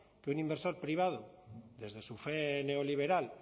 que un inversor privado desde su fe neoliberal